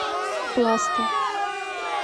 пласта